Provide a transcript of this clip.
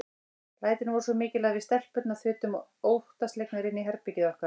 Lætin voru svo mikil að við stelpurnar þutum óttaslegnar inn í herbergið okkar.